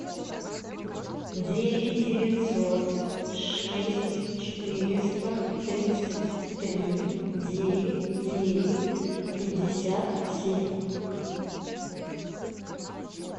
девять девятьсот шесть четыреста тридцать три девять девять пятьдесят семь